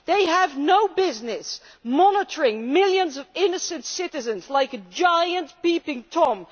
They have no business monitoring millions of innocent citizens, like a giant Peeping Tom.